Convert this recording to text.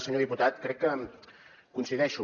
senyor diputat crec que coincideixo